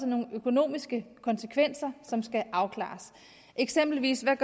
nogle økonomiske konsekvenser som skal afklares eksempelvis er